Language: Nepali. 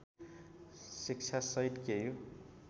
शिक्षा सहित केयु